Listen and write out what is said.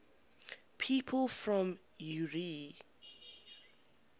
people from eure